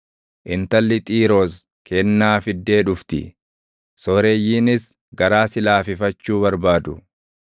Intalli Xiiroos kennaa fiddee dhufti; sooreyyiinis garaa si laafifachuu barbaadu.